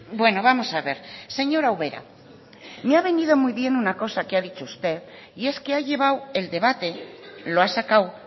bueno vamos a ver señora ubera me ha venido muy bien una cosa que ha dicho usted y es que ha llevado el debate lo ha sacado